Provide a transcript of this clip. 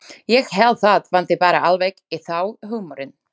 Ég held það vanti bara alveg í þá húmorinn.